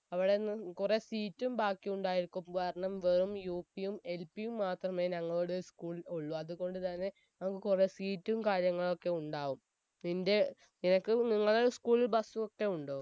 അവിടെന്ന് കുറെ seat ഉം ബാക്കിയുണ്ടായിരിക്കും കാരണം വെറും UP യും LP യും മാത്രമേ ഞങ്ങളുടെ school ഉള്ളൂ അതുകൊണ്ട് തന്നെ നമുക്ക് കുറെ seat ഉം കാര്യങ്ങളൊക്കെ ഉണ്ടാകും നിന്റെ നിങ്ങളെ school ൽ bus ഒക്കെ ഉണ്ടോ